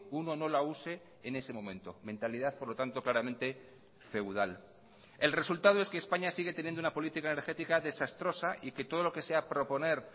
uno no la use en ese momento mentalidad por lo tanto claramente feudal el resultado es que españa sigue teniendo una política energética desastrosa y que todo lo que sea proponer